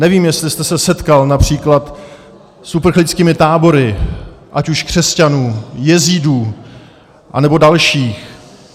Nevím, jestli jste se setkal například s uprchlickými tábory, ať už křesťanů, jezídů anebo dalších.